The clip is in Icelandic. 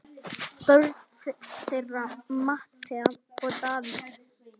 Börn þeirra Metta og Davíð.